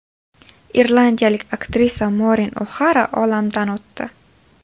Irlandiyalik aktrisa Morin O‘Xara olamdan o‘tdi.